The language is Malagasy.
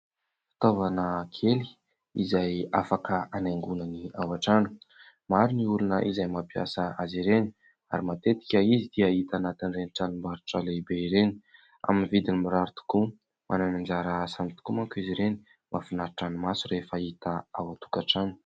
Fitaovana kely izay afaka hanaingonana ao an-trano. Maro ny olona izay mampiasa azy ireny ary matetika izy dia hita anatin'ireny tranom-barotra lehibe ireny amin'ny vidiny mirary tokoa. Manana ny anjara asany tokoa manko izy ireny. Mahafinaritra ny maso rehefa hita ao an-tokantrano.